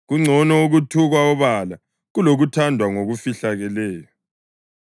Kungcono ukuthukwa obala kulokuthandwa ngokufihlakeleyo.